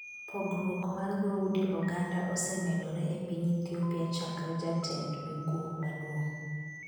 pogruok mar dhoudi oganda osemedore e piny Ethiopia chakre jatend migwo maduong'